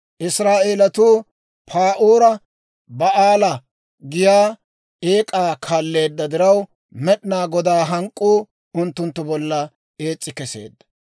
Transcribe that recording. Israa'eelatuu Pa'oora Ba'aala giyaa eek'aa kaalleedda diraw, Med'inaa Godaa hank'k'uu unttunttu bollan ees's'i keseedda.